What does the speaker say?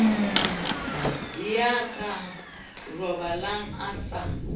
ya ka robalang a sa